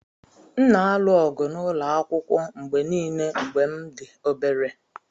M na-alụ ọgụ n’ụlọ akwụkwọ mgbe nile mgbe m dị obere.